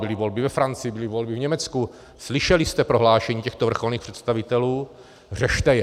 Byly volby ve Francii, byly volby v Německu, slyšeli jste prohlášení těchto vrcholných představitelů, řešte je.